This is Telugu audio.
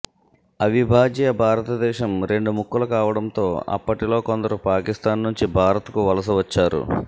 అవిభాజ్య భారతదేశం రెండు ముక్కలు కావడం తో అప్పటిలో కొందరు పాకిస్థాన్ నుంచి భారత్ కు వలస వచ్చారు